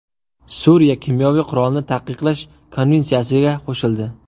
Suriya kimyoviy qurolni taqiqlash konvensiyasiga qo‘shildi.